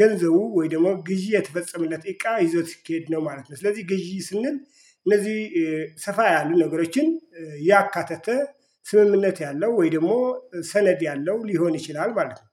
ገንዘቡ ወይ ደግሞ ግዢ የተፈጸመለት እቃ ይዞት ሲኬድ ነው ማለት ነው። ስለዚህ ግዢ ስንል እነዚህ ሰፋ ያሉ ነገሮችን ያካተተ ስምምነት ያለው ወይ ደግሞ ሰነድ ያለው ሊሆን ይችላል ማለት ነው።